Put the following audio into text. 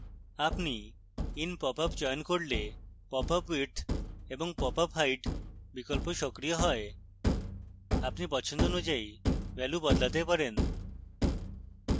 আপনি in popup চয়ন করলে popup width এবং popup height বিকল্প সক্রিয় হয়